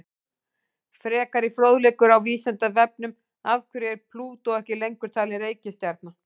Frekari fróðleikur á Vísindavefnum: Af hverju er Plútó ekki lengur talin reikistjarna?